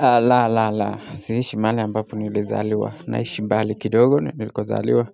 La, la, la, siishi mahali ambapo nilizaliwa, naishi mbali kidogo nilikozaliwa,